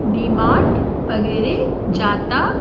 डिमार्ट वगैरे जाता--